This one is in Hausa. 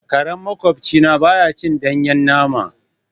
Karen maƙwabci na baya cin danyen nama.